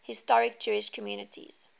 historic jewish communities